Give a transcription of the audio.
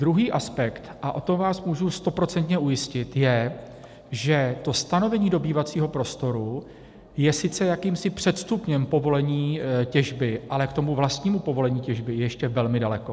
Druhý aspekt, a o tom vás můžu stoprocentně ujistit, je, že to stanovení dobývacího prostoru je sice jakýmsi předstupněm povolení těžby, ale k tomu vlastnímu povolení těžby ještě velmi daleko.